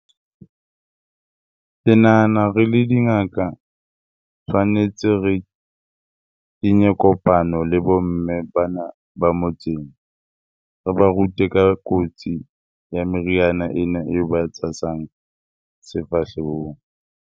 Ke nahana re le dingaka, tshwanetse re kenye kopano le bo mme bana ba motseng. Re ba rute ka kotsi ya meriana ena eo ba e tshasang sefahlehong.